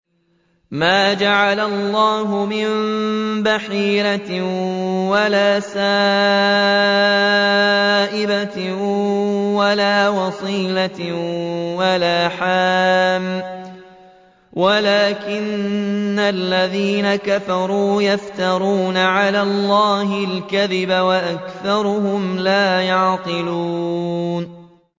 مَا جَعَلَ اللَّهُ مِن بَحِيرَةٍ وَلَا سَائِبَةٍ وَلَا وَصِيلَةٍ وَلَا حَامٍ ۙ وَلَٰكِنَّ الَّذِينَ كَفَرُوا يَفْتَرُونَ عَلَى اللَّهِ الْكَذِبَ ۖ وَأَكْثَرُهُمْ لَا يَعْقِلُونَ